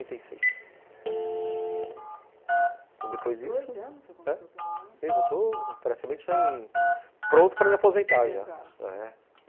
oitenta e Então depois disso... Já estou praticamente pronto para me aposentar, é